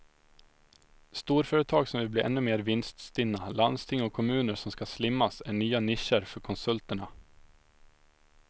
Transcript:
Storföretag som vill bli ännu mer vinststinna, landsting och kommuner som ska slimmas är nya nischer för konsulterna.